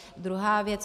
Druhá věc.